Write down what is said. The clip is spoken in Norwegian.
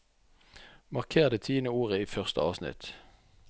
Marker det tiende ordet i første avsnitt